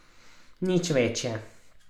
Nič večje.